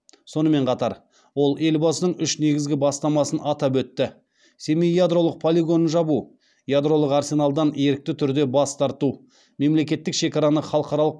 сонымен қатар ол елбасының үш негізгі бастамасын атап өтті семей ядролық полигонын жабу ядролық арсеналдан ерікті түрде бас тарту мемлекеттік шекараны халықаралық